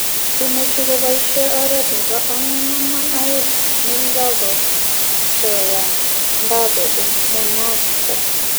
Imuuch koboisye oret nebo 4-4-2 ne kigakosoyan mbappe eng Monaco